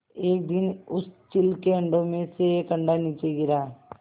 एक दिन उस चील के अंडों में से एक अंडा नीचे गिरा